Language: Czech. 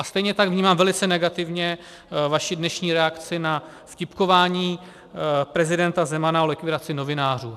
A stejně tak vnímám velice negativně vaši dnešní reakci na vtipkování prezidenta Zemana o likvidaci novinářů.